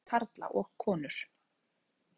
ÆSKILEG ÞYNGD FYRIR KARLA OG KONUR